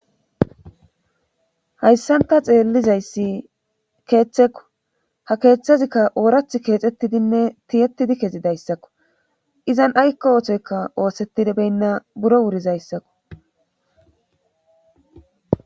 hayssanta xeellizayssi keeththekko ha keeththezikka oorath keexxettidinne tiyettidi kezi dayssakko izan aykka ootoykka oosetidibeynna buro wurizayssakko